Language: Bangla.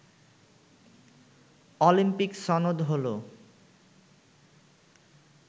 অলিম্পিক সনদ হল